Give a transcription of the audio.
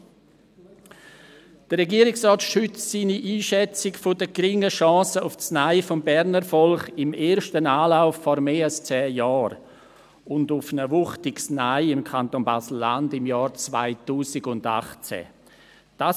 – Der Regierungsrat stützt seine Einschätzung der geringen Chance auf das Nein des Berner Volkes im ersten Anlauf vor mehr als zehn Jahren – und auf ein wuchtiges Nein im Kanton BaselLandschaft im Jahr 2018.